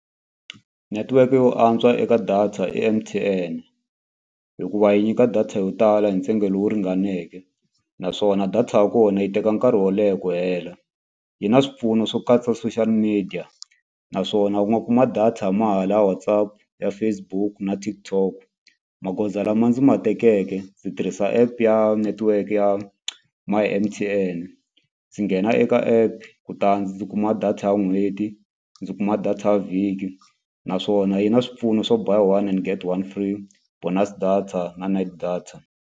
Netiweke yo antswa eka data M_T_N hikuva yi nyika data yo tala hi ntsengo lowu ringaneke naswona data ya kona yi teka nkarhi wo leha ku hela yi na swipfuno swo katsa social media naswona u nga kuma data mali ya WhatsApp ya Facebook na TikTok. Magoza lama ndzi ma tekeke ndzi tirhisa app ya network ya my M_T_N ndzi nghena eka app kutani ndzi kuma data ya n'hweti ndzi kuma data ya vhiki naswona yi na swipfuno swo buy one and get one free bonus data na night data.